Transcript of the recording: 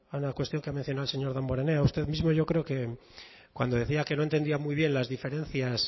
una cuestión que ha mencionado el señor damborenea usted mismo yo creo que cuando decía que no entendía muy bien las diferencias